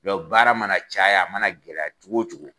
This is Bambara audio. Dɔn baara mana caya a mana gɛlɛya cogo o cogo